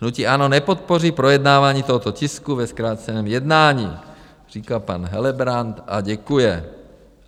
Hnutí ANO nepodpoří projednávání tohoto tisku ve zkráceném jednání, říká pan Helebrant a děkuje.